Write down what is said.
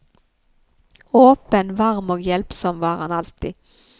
Åpen, varm og hjelpsom var han alltid.